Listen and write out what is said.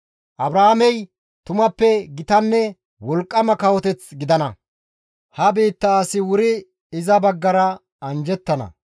Abrahaamey tumappe gitanne wolqqama kawoteth gidana; ha biitta asi wuri iza baggara anjjettana.